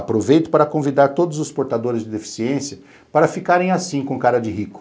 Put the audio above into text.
Aproveito para convidar todos os portadores de deficiência para ficarem assim com cara de rico.